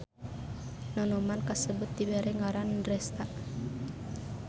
Nonoman kasebut dibere ngaran Dresta.